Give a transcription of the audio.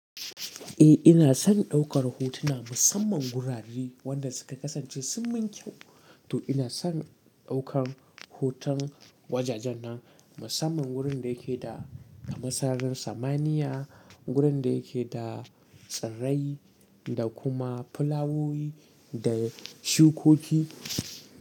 Eh ina son ɗaukar hotuna musamman gurare wanda suka kasance sun min kyau. To ina son ɗaukan hoton wajajen nan musamman wurin da yake da kamar sara rin samaniya, wurin da yake da tsirrai da kuma fulawowi da shukoki.